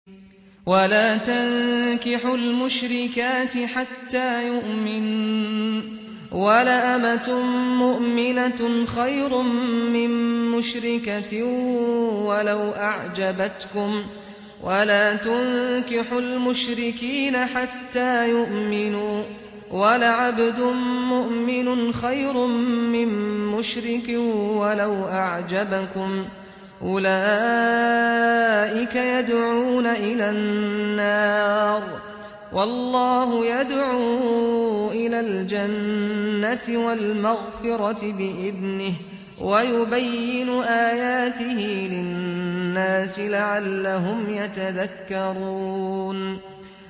وَلَا تَنكِحُوا الْمُشْرِكَاتِ حَتَّىٰ يُؤْمِنَّ ۚ وَلَأَمَةٌ مُّؤْمِنَةٌ خَيْرٌ مِّن مُّشْرِكَةٍ وَلَوْ أَعْجَبَتْكُمْ ۗ وَلَا تُنكِحُوا الْمُشْرِكِينَ حَتَّىٰ يُؤْمِنُوا ۚ وَلَعَبْدٌ مُّؤْمِنٌ خَيْرٌ مِّن مُّشْرِكٍ وَلَوْ أَعْجَبَكُمْ ۗ أُولَٰئِكَ يَدْعُونَ إِلَى النَّارِ ۖ وَاللَّهُ يَدْعُو إِلَى الْجَنَّةِ وَالْمَغْفِرَةِ بِإِذْنِهِ ۖ وَيُبَيِّنُ آيَاتِهِ لِلنَّاسِ لَعَلَّهُمْ يَتَذَكَّرُونَ